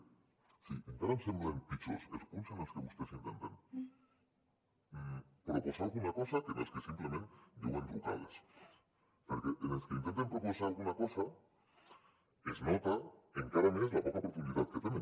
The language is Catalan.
o sigui encara em semblen pitjors els punts en els que vostès intenten proposar alguna cosa que en els que simplement diuen rucades perquè en els que intenten proposar alguna cosa es nota encara més la poca profunditat que tenen